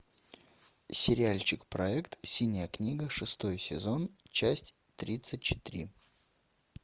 сериальчик проект синяя книга шестой сезон часть тридцать три